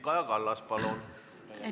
Kaja Kallas, palun!